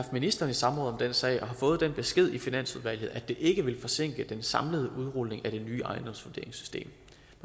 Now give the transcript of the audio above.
ministeren i samråd om den sag og har fået den besked i finansudvalget at det ikke vil forsinke den samlede udrulning af det nye ejendomsvurderingssystem